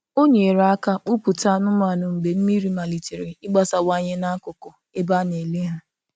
Ọ nyere aka kpụ̀pụta anụ́manụ mgbe mmiri maliterè ịgbasawanye n’akụkụ ebe a na-ele ha.